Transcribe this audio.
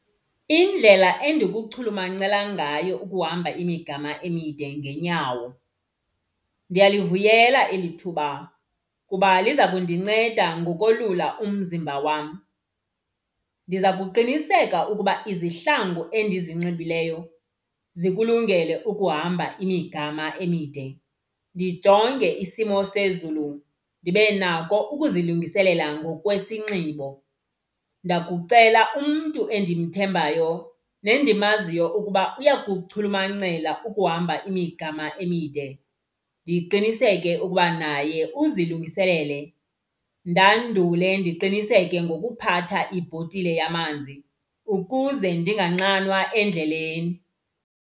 Indlela endikuchulumancela ngayo ukuhamba imigama emide ngeenyawo. Ndiyalivuyela eli thuba kuba liza kundinceda ngokolula umzimba wam. Ndiza kuqiniseka ukuba izihlangu endizinxibileyo zikulungele ukuhamba imigama emide. Ndijonge isimo sezulu ndibe nako ukuzilungiselela ngokwesinxibo. Ndakucela umntu endimthembayo nendimaziyo ukuba uyakuchulumancela ukuhamba imigama emide. Ndiqiniseke ukuba naye uzilungiselele ndandule ndiqiniseke ngokuphatha ibhotile yamanzi ukuze ndinganxanwa endleleni.